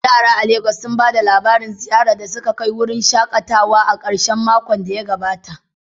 Yara a Legas sun ba da labarin ziyarar da suka kai wurin shakatawa a karshen makon da ya gabata.